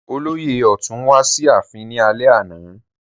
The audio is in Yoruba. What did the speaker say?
Olóyè ọ̀tún wá sí ààfin ní alẹ́ àná